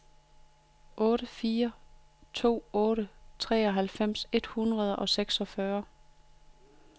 otte fire to otte treoghalvfems et hundrede og seksogfyrre